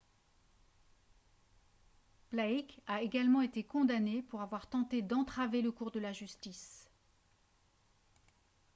blake a également été condamné pour avoir tenté d'entraver le cours de la justice